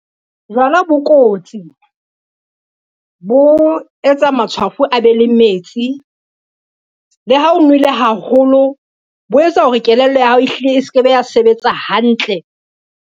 Jwala bo kotsi, bo etsa matshwafo a be le metsi. Le ha o nwele haholo, bo etsa hore kelello ya hao e hlile e se ke be ya sebetsa hantle.